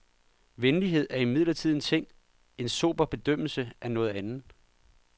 Venlighed er imidlertid en ting, en sober bedømmelse er noget andet.